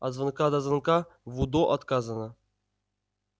от звонка до звонка в удо отказано